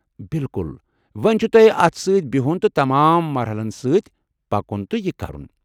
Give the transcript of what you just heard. بِلکُل! وونۍ چھُ تۄہہِ اتھ سۭتۍ بِہُن تہٕ تمام مَرحَلن سۭتۍ پكُن تہٕ یہِ كرُن ۔